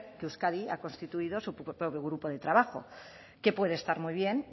que euskadi ha constituido su propio grupo de trabajo que puede estar muy bien